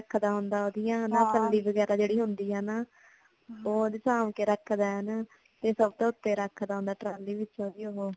ਰੱਖਦਾ ਹੁੰਦਾ ਹੈ ਓਂਦੀਆਂ ਚੰਡੀ ਵਗੈਰਾ ਜੇੜੀ ਹੁੰਦੀ ਹੈ ਨਾ ਉਂਝ ਸਾਂਭ ਕੇ ਰੱਖਦਾ ਹੈ ਹਨਾ ਤੇ ਸਬ ਤੋਂ ਉਤੇ ਰੱਖਦਾ ਹੁੰਦਾ ਹੈ ਟਰਾਲੀ ਵਿਚ ਓ